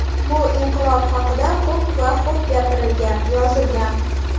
Bu inqilob haqida ko‘p va xo‘b gapirilgan, yozilgan.